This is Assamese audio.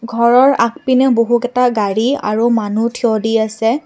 ঘৰৰ আগপিনে বহুকেইটা গাড়ী আৰু মানুহ থিয় দি আছে।